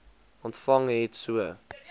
ontvang het so